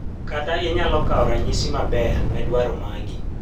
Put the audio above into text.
kata inyalo kawo ranyisi maber ne dwaro magi